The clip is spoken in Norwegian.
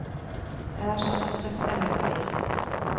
Det er som et søtt eventyr.